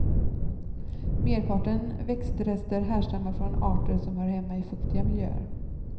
Merparten växtrester härstammar från arter som hör hemma i fuktiga miljöer.